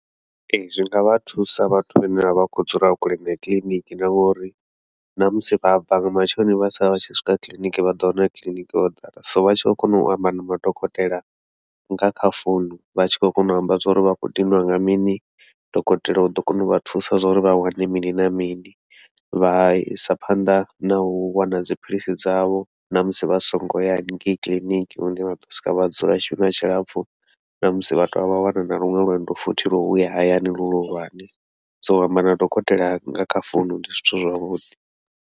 Ee, zwi ngavha thusa vhathu vhane vha vha khou dzula kule na kiḽiniki, na ngauri namusi vha bva nga matsheloni vha sala vha tshi swika kiḽiniki vha ḓo wana kiḽiniki ho ḓala, so vha tshi khou kona u amba na madokotela nga kha founu vha tshi khou kona u amba zwa uri vha khou diniwa nga mini, dokotela uḓo kona uvha thusa zwa uri vha wane mini na mini. Vha isa phanḓa nau wana dziphilisi dzavho namusi vha songo ya hanengei kiḽiniki lune vha ḓo swika vha dzula tshifhinga tshilapfhu, namusi vha tovha vha wana na luṅwe lwendo futhi lwa uya hayani lu luhulwane, so u amba na dokotela nga kha founu ndi zwithu zwavhuḓi.